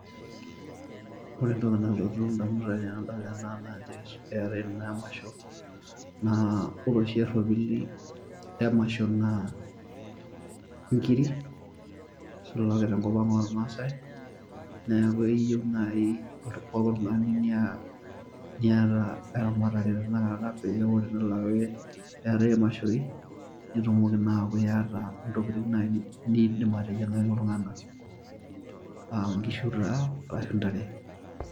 Ore entoki nalotu ndamunot ainei tanadol enaa naa keetai naa emasho na ore oshi eropili emasho naa nkirik tenkop aang ormasai neaku iyieu naai oltungani niata eramatare neatae mashoi nitumoki na aaku iata ntokitin niidim ateyiangaki ltunganak aa nkishu ashu ntare.